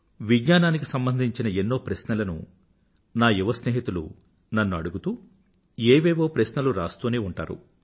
విజ్ఞానానికి సంబంధించిన ఎన్నో ప్రశ్నలను నా యువ స్నేహితులు నన్ను అడిగుతూ ఏవేవో ప్రశ్నలు రాస్తూనే ఉంటారు